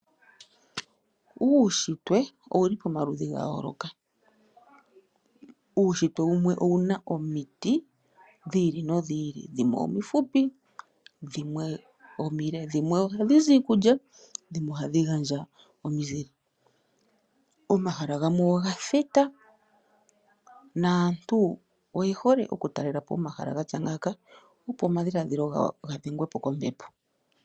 Uunshitwe owuli pomaludhi gayooloka. Uunshitwe wumwe owuna omiti dhiili nodhili, dhimwe omifupi , dhimwe omile. Dhimwe ohadhi zi iikulya omanga dhimwe ohadhi gandja omizile. Omahala gamwe ogathita nomahala ngano oge holike kaantu molwaashoka ohaya uvupo okambepo.